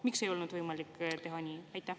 Miks ei olnud võimalik teha nii?